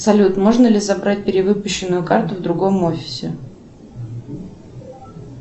салют можно ли забрать перевыпущенную карту в другом офисе